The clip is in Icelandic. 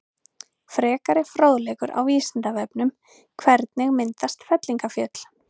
Frekari fróðleikur á Vísindavefnum: Hvernig myndast fellingafjöll?